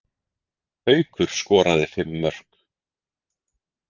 Haukur skoraði fimm mörk